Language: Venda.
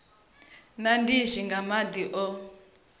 na ndishi nga madi o